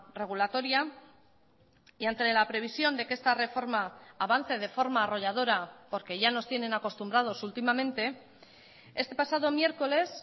regulatoria y ante la previsión de que esta reforma avance de forma arrolladora porque ya nos tienen acostumbrados últimamente este pasado miércoles